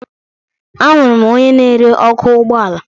Ahụrụ m onye na-ere ọkụ ụgbọala